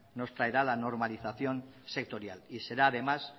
nos traerá la normalización sectorial y será además